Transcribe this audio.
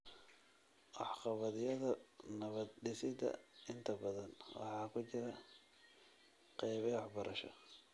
Waxqabadyada nabad-dhisidda inta badan waxa ku jira qaybo waxbarasho.